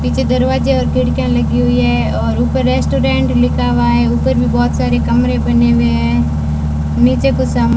पीछे दरवाजे और खिड़कियां लगी हुई हैं और ऊपर रेस्टोरेंट लिखा हुआ है उपर मे बहोत सारे कमरे बने हुए हैं नीचे कुछ सामान--